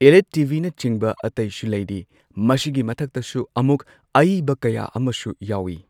Elite ꯇꯤ ꯚꯤꯅꯆꯤꯡꯕ ꯑꯇꯩꯁꯨ ꯂꯩꯔꯤ ꯃꯁꯤꯒꯤ ꯃꯊꯛꯇꯁꯨ ꯑꯃꯨꯛ ꯑꯏꯕ ꯀꯌꯥ ꯑꯃꯁꯨ ꯌꯥꯎꯏ꯫